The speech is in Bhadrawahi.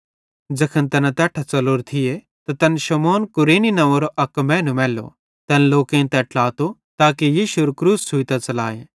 ज़ैखन तैना तैट्ठां च़लोरे थिये त तैन शमौन कुरेनी नंव्वेरो अक मैनू मैल्लो तैन लोकेईं तै ट्लातो ताके यीशुएरू क्रूस छ़ुइतां च़लाए